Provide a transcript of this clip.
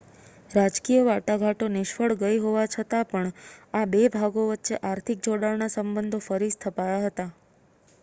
રાજકીય વાટાઘાટો નિષ્ફ્ળ ગઈ હોવા છતાં પણ આ 2 ભાગો વચ્ચે આર્થિક જોડાણના સબંધો ફરીથી સ્થપાયા હતા